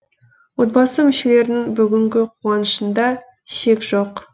отбасы мүшелерінің бүгінгі қуанышында шек жоқ